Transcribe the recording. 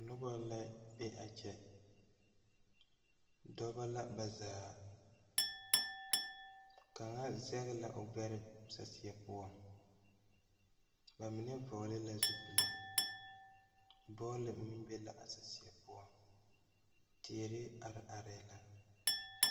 Nobɔ la be a kyɛ dɔbɔ la ba zaa kaŋa zege la gbɛre saseɛ poɔŋ ba mine vɔgle la zupile dɔɔ le meŋ be la a saseɛ poɔŋ teere are areɛɛ la.